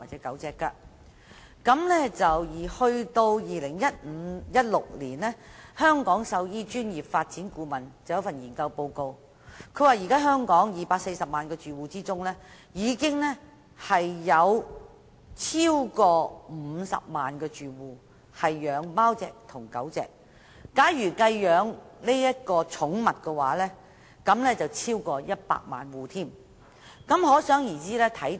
到2015年或2016年，有關香港獸醫專業發展的顧問研究報告指出，在香港240萬個住戶中，有超過50萬個住戶飼養貓或狗，假如連飼養其他寵物都計算在內，香港有超過100萬個住戶飼養寵物。